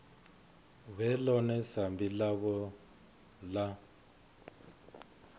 vhe ḽone sambi ḽavho ḽa